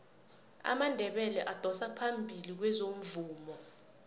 amandebele adosa phambili kwezomvumo